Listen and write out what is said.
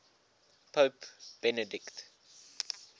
pope benedict